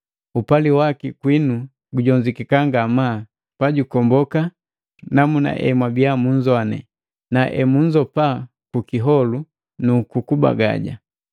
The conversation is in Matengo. Upali waki kwinu gujozukeka ngamaa, pajukomboka namuna emwabiya munzoane, na emunzopa ku kiholu nu kubagaja.